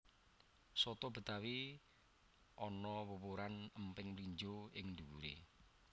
Soto betawi ana wuwuran emping mlinjo ing dhuwuré